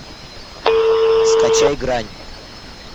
скачай грань